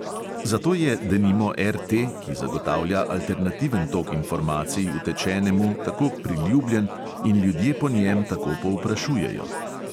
Zato je denimo RT, ki zagotavlja alternativen tok informacij utečenemu, tako priljubljen in ljudje po njem tako povprašujejo.